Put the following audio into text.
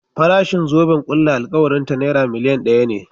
Farashin zoben ƙulla alkawarin ta Naira miliyan ɗaya ne.